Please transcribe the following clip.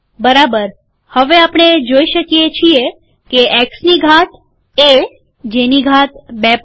ઠીક છે હવે આપણે જોઈએ છીએ કે એક્સની ઘાત એ જેની ઘાત ૨૫